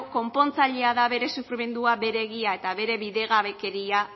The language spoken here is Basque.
konpontzailea da bere sufrimendua bere egia eta bere bidegabekeria